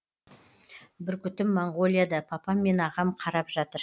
бүркітім моңғолияда папам мен ағам қарап жатыр